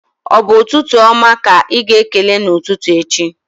Ọ bụ ụtụtụ oma ka ịga-ekele n'ụtụtụ echi?